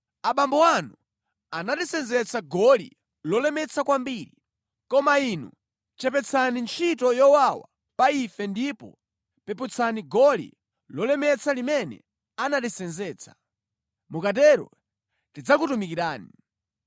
“Abambo anu anatisenzetsa goli lolemetsa kwambiri, koma inu chepetsani ntchito yowawa pa ife ndipo peputsani goli lolemetsa limene anatisenzetsa. Mukatero tidzakutumikirani.”